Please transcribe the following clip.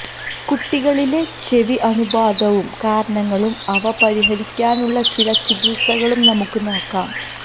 കുട്ടികളിലെ ചെവി അണുബാധയും കാരണങ്ങളും അവ പരിഹരിക്കാനുള്ള ചില ചികിത്സകളും നമുക്ക് നോക്കാം